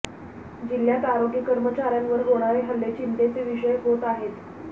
जिल्ह्यात आरोग्य कर्मचाऱ्यांवर होणारे हल्ले चिंतेचे विषय होत आहेत